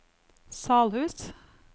Salhus